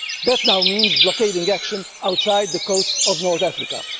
and deaths. That now means blockading action off the coast of North